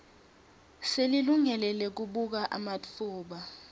selilungelo lekubuka ematfuba